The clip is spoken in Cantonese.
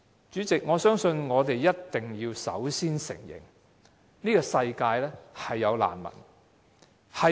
主席，我覺得我們首先要承認，這個世界的確存在難民。